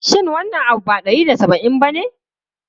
Shin wannan abu ba naira ɗari da saba'in bane?